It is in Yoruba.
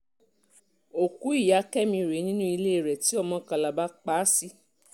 òkú ìyá kẹ́mi rèé nínú ilé rẹ̀ tí ọmọ kalaba ọmọ kalaba pa á sí